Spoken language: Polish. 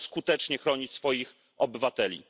zaczął skutecznie chronić swoich obywateli.